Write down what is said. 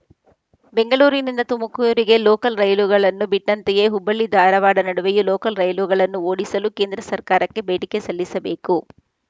ಬೆಂಗಳೂರಿನಿಂದ ತುಮಕೂರಿಗೆ ಲೋಕಲ್‌ ರೈಲುಗಳನ್ನು ಬಿಟ್ಟಂತೆಯೇ ಹುಬ್ಬಳ್ಳಿ ಧಾರವಾಡದ ನಡುವೆಯೂ ಲೋಕಲ್‌ ರೈಲುಗಳನ್ನು ಓಡಿಸಲು ಕೇಂದ್ರ ಸರ್ಕಾರಕ್ಕೆ ಬೇಡಿಕೆ ಸಲ್ಲಿಸಬೇಕು